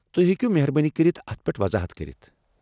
تُہۍ ہیكو مہربٲنی كرِتھ اتھ پیٹھ وضاحت كرِتھ ؟